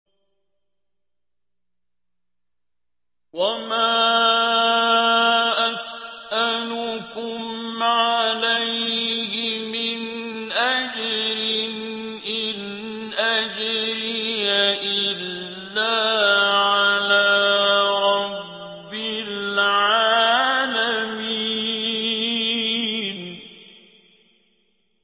وَمَا أَسْأَلُكُمْ عَلَيْهِ مِنْ أَجْرٍ ۖ إِنْ أَجْرِيَ إِلَّا عَلَىٰ رَبِّ الْعَالَمِينَ